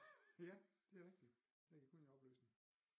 Ja det er rigtig der gik hun i opløsning